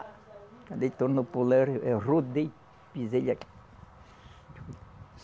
Quando ele tornou pular, eu rodei, pisei ele aqui.